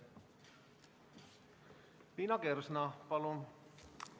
Liina Kersna, palun!